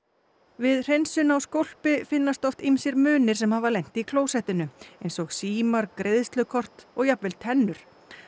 við hreinsun á skólpi finnast oft ýmsir munir sem hafa lent í klósettinu eins og símar greiðslukort og jafnvel tennur